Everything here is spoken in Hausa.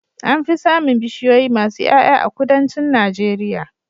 Anfi samin bishiyoyi masu Y'ay'a a kudancin najeria